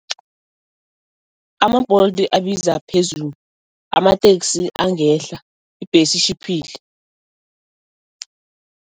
Ama-Bolt abiza phezulu, amateksi angehla, ibhesi itjhiphile.